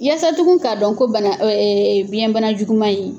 Yaasa tugun ka dɔn ko bana biɲɛ bana juguman in.